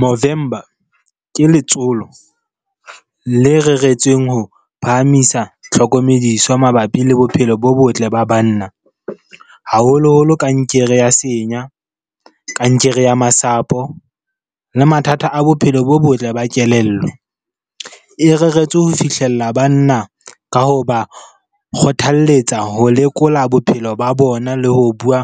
Movember ke letsolo le reretsweng ho phahamisa tlhokomediso ya mabapi le bophelo bo botle ba banna. Haholoholo kankere ya senya, kankere ya masapo le mathata a bophelo bo botle ba kelello. E reretswe ho fihlella banna ka ho ba kgothalletsa ho lekola bophelo ba bona le ho bua